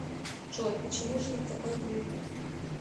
джой почему же ты такой глупый